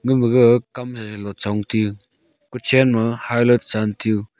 ama gaga kam sasa lo chong te u kuchen ma hailo chan te u.